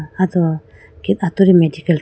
ah do thik atudi medical thra.